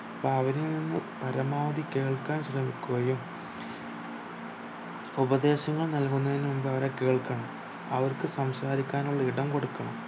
അപ്പൊ അവരിൽ നിന്ന് പരമാവധി കേൾക്കാൻ ശ്രമിക്കുകയും ഉപദേശങ്ങൾ നൽകുന്നതിന് മുൻപ് അവരെ കേൾക്കണം അവർക്കു സംസാരിക്കാനുള്ള ഇടം കൊടുക്കണം